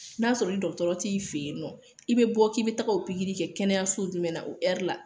N'a sɔrɔ dɔgɔtɔrɔ t'i fe yen nɔ, i be bɔ k'i be taga o kɛ kɛnɛya so jumɛn na o la.